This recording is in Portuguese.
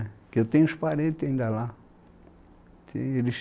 Porque eu tenho os parentes ainda lá. Tem, eles